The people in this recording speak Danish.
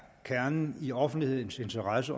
kernen i offentlighedens interesse